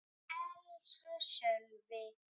Elsku Sölvi!